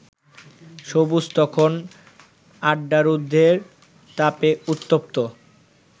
সবুজ তখন আড্ডারুদের তাপে উত্তপ্ত